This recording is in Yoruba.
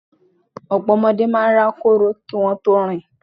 Ọ̀pọ̀ ọmọdé máa rákòrò kí wón tó rìn.